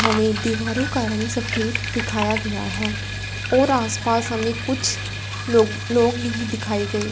हमें दीवारों का रंग सफेद दिखाया गया है और आस पास हमें कुछ लो लोग नहीं दिखाए गए--